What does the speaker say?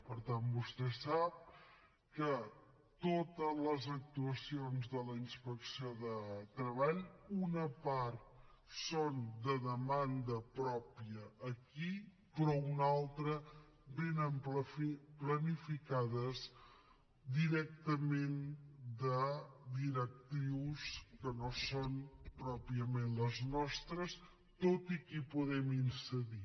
per tant vostè sap que de totes les actuacions de la inspecció de treball una part són de demanda pròpia aquí però una altra venen planificades directament de directrius que no són pròpiament les nostres tot i que hi podem incidir